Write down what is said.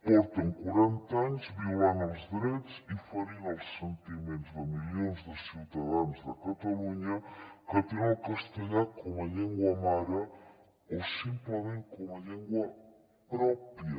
porten quaranta anys violant els drets i ferint els sentiments de milions de ciutadans de catalunya que tenen el castellà com a llengua mare o simplement com a llengua pròpia